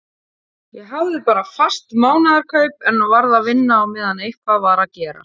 Ég hafði bara fast mánaðarkaup en varð að vinna á meðan eitthvað var að gera.